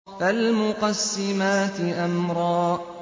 فَالْمُقَسِّمَاتِ أَمْرًا